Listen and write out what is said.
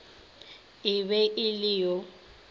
e be e le yo